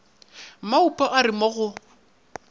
maupa a re mo go